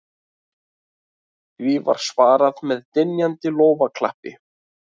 Því var svarað með dynjandi lófaklappi